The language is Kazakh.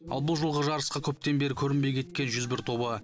ал бұл жолғы жарысқа көптен бері көрінбей кеткен жүз бір тобы